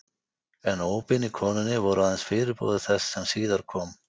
En ópin í konunni voru aðeins fyrirboði þess sem síðar kom.